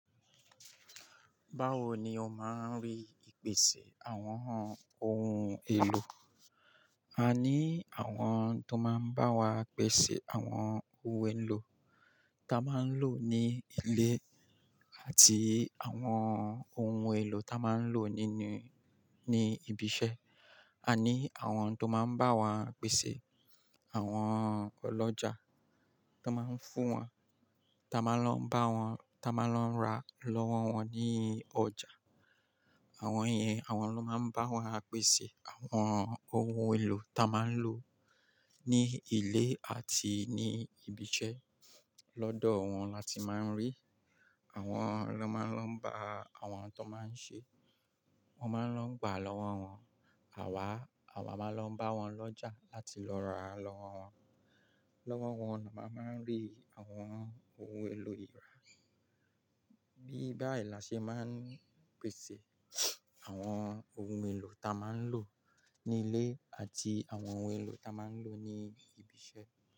Báwo ni o máa ń rí ìpèsè àwọn ohun èlò? A ní àwọn tó máa ń bá wa pèsè àwọn ohun èlò táa máa ń lò ní ilé àti àwọn ohun èlò táa máa ń lò nínú-- ní ibi iṣẹ́. A ní àwọn tó máa ń bá wa pèsè àwọn ọlọ́jà tó máa ń fún wa, táa máa ń lọ bá wọn, táa máa ń lọ ra lọ́wọ́ wọn ní ọjà. Àwọn yen, àwọn ló máa ń bá wa pèsè àwọn ohun èlò táa máa ń lò ní ilé àti ní ibi iṣẹ́. Lọ́dọ̀ wọn la ti máa ń rí. Àwọn lọ́ máa ń lọ bá àwọn tó máa ń ṣe. Wọ́n máa ń lọ gbà lọ́wọ́ wọn. Àwa, àwa máa lọ bá wọn lọ́jà láti lọ ra lọ́wọ́ wọn. Lọ́wọ́ wọn ni a máa ń rí àwọn ohun èlò ìlera. Bí bai la ṣe máa ń pèsè àwọn ohun èlò táa máa ń lò ní ilé àti àwọn ohun èlò táa máa ń lò ní ibi iṣẹ́.